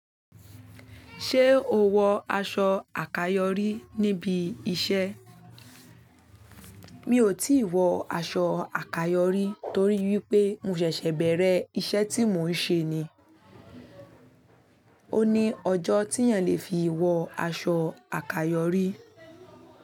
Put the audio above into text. Ṣé o wọ aṣọ àkayòrí níbi iṣẹ́? Mi ò tíì wọ aṣọ àkayòrí torí wípé mo ṣẹ̀ṣẹ̀ bẹ̀rẹ̀ iṣẹ́ tí mò ń ṣe ni. Ó ní ọjọ́ tí èèyàn lè fi wọ aṣọ àkayòrí.